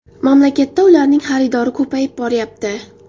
Mamlakatda ularning xaridori ko‘payib boryapti.